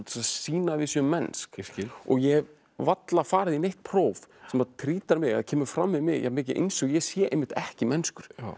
sýna að við séum mennsk ég hef varla farið í neitt próf sem kemur fram við mig jafn mikið eins og ég sé einmitt ekki mennskur